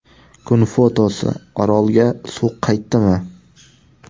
Kun fotosi: Orolga suv qaytdimi?.